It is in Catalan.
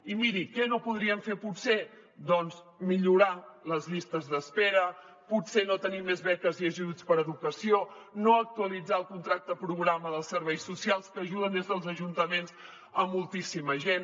i miri què no podríem fer potser doncs millorar les llistes d’espera potser no tenir més beques i ajuts per a educació no actualitzar el contracte programa dels serveis socials que ajuden des dels ajuntaments moltíssima gent